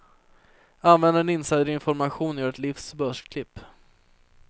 Använda din insiderinformation och göra ditt livs börsklipp.